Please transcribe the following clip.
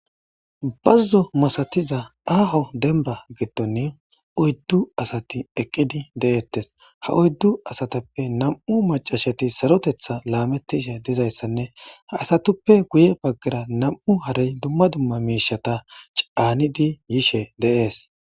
bazzo masatiza aaho denba gidon oyddu asati eqqidi de'ttes, ha oyddu asatappe nam7u macashati sarotetha laametishe dizayssanne ha asatuppe guye baggara nam7u harey dumma dumma miishata caanidi yishe de'es